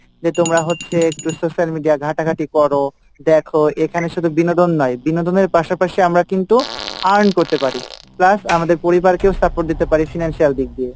যে তোমরা হচ্ছে একটু social media ঘাঁটাঘাটি করো, দেখো এখানে শুধু বিনোদন নয় বিনোদনের পাশাপাশি আমরা কিন্তু earn করতে পারি plus আমাদের পরিবার কেও support দিতে পারি financial দিক দিয়ে,